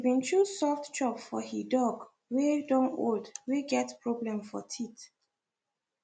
he been choose soft chop for he dog wey don old wey get problem for teeth